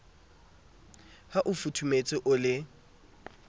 ha o futhumetse o le